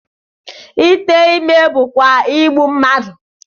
Ite ime bụkwa igbu mmadụ